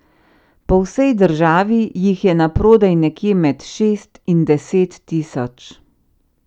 Po vsej državi jih je na prodaj nekje med šest in deset tisoč ...